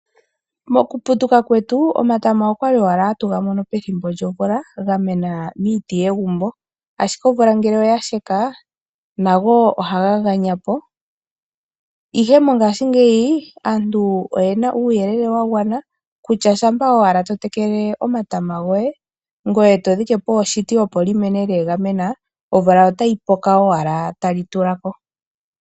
Mokuputuka kwetu omatama okwali owala hatu ga mono pethimbo lyomvula ga mena miiti yegumbo, ashike omvula ngele oya sheka, nago ohaga ganya po. Ihe mongashingeyi aantu oyena uuyelele wa gwana kutya shampa owala to tekele omatama goye, ngoye to dhike po oshiti opo li mene leegamena omvula otayi puko owala tali tula ko.